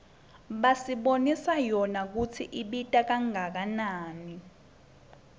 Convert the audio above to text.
basibonisa yona kutsi ibita kangakanani